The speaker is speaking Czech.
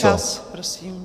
Čas, prosím.